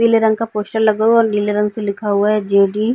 पीले रंग का पोस्टर लगा हुआ और नीले रंग से लिखा हुआ है जे.डी. ।